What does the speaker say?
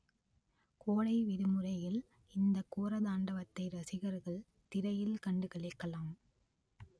கோடை விடுமுறையில் இந்த கோரதாண்டவத்தை ரசிகர்கள் திரையில் கண்டு களிக்கலாம்